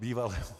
Bývalému.